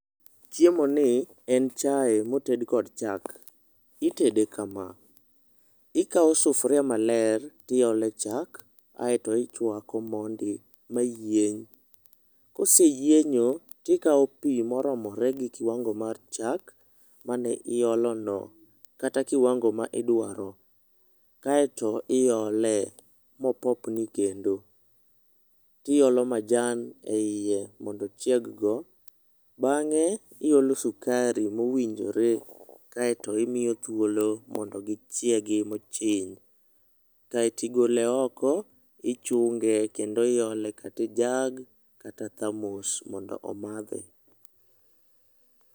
chiemo ni en chae moted kod chak. itede kama ikao sufuria maler tiole chak kaeto ichwako mondi mayieny. koseyienyo to ikao pii moromore gi kiwango mar chak mane iolo no kata kiwango midwaro kaeto iole mopopni kendo tiolo majan eie mondo ochieg go bange iolo sukari mowinjore kaeto to imiyo thuolo mondo gichiegi mochiny kaetigole oke ichunge kendo iole kata e jug kata thermos mondo omadhe